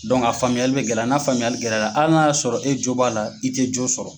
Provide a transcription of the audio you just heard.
a faamuyali bɛ gɛlɛya n'a faamuyali gɛlɛya la hali n'a y'a sɔrɔ e jo b'a la i tɛ jo sɔrɔ.